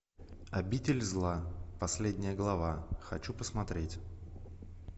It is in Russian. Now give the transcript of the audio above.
обитель зла последняя глава хочу посмотреть